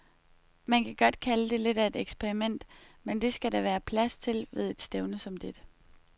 Man kan godt kalde det lidt af et eksperiment, men det skal der være plads til ved et stævne som dette.